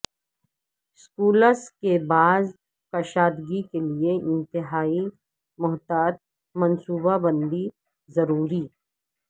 schools کی باز کشادگی کیلئے انتہائی محتاط منصوبہ بندی ضروری